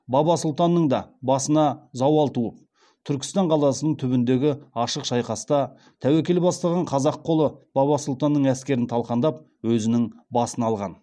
баба сұлтанның да басына зауал туып түркістан қаласының түбіндегі ашық шайқаста тәуекел бастаған қазақ қолы баба сұлтанның әскерін талқандап өзінің басын алған